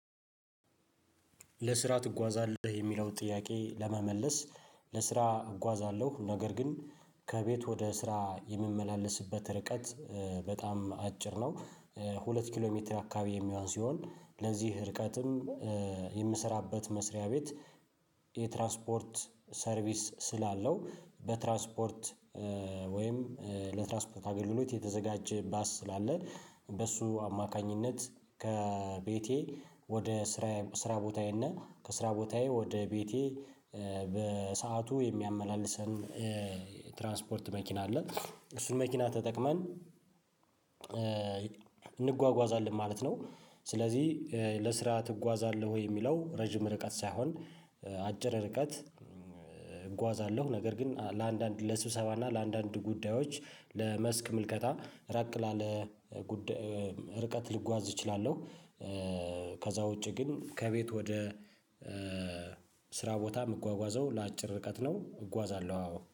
ለስራ ትጓዛለህ የሚለው ጥያቄ ለመመለስ? ለስራ እጓዛለሁ ነገር ግን ከቤት ወደ ስራ የምመላለስበት ርቀት በጣም አጭር ነው። ሁለት ኪሎ ሜትር አካባቢ የሚሆን ሲሆን ለዚህ ርቀትም የምሰራበት መስሪያ ቤት። የትራንስፖርት ሰርቪስ ስላለው በትራስፖርት ወይም ለትራስፖርት አገልግሎት የተዘጋጀ ባስ ስላለ በሱ አማካኝነት ከቤቴ ወደ ስራ ስራ ቦታዬ እና ከስራ ቦታዬ ወደ ቤቴ በሰአቱ የሚያመላልሰን ትራንስፖርት መኪና አለ። እሱን መኪና ተጠቅመን እንጓጓዛለን ማለት ነው። ስለዚህ ለስራ ትጓዛለህ ወይ የሚለው ረጅም ርቀት ሳይሆን አጭር ርቀት። እጓዛለሁ ነገር ግን ለአንዳንድ ለስብሰባ እና ለአንዳንድ ጉዳዮች ለመስክ ምልከታ ራቅ ላለ ጉዳይ ርቀት ልጓዝ እችላለሁ። ከዛ ውጪ ግን ከቤት ወደ ስራ ቦታ የምጓጓዘው ለአጭር ርቀት ነው እጓዛለሁ አዎ